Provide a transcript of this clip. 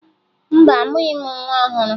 Mba, amụghị m nwa ọhụrụ